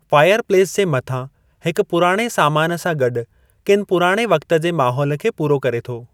Fireplace जे मथां हिकु पुराणे सामान सां गॾु किनि पुराणे वक़्त जे माहौल खे पूरो करे थो।